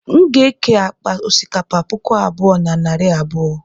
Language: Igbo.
m ga-eke akpa osikapa puku abụọ na narị abụọ